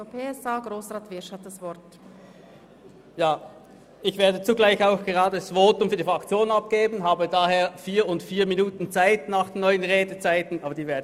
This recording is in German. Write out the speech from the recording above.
Ich werde zugleich auch das Votum für die SP-JUSO-PSA-Fraktion abgeben und habe daher gemäss den neuen Redezeiten 4 plus 4 Minuten Zeit.